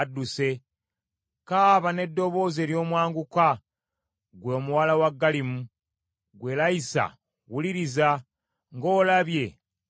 Kaaba n’eddoboozi ery’omwanguka ggwe omuwala wa Galimu! Ggwe Layisa wuliriza! Ng’olabye Anasosi!